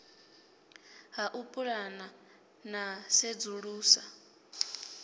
ha u pulana na sedzulusa